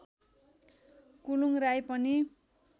कुलुङ् राई पनि